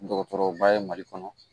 Dɔgɔtɔrɔba ye mali kɔnɔ